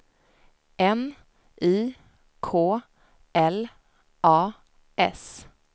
N I K L A S